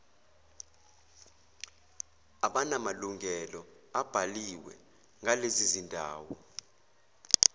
abanamalungelo abhaliwe ngalezizindawo